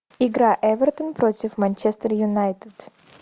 игра эвертон против манчестер юнайтед